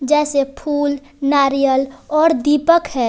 जैसे फूल नारियल और दीपक है।